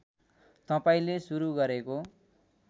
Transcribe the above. तपाईँले सुरु गरेको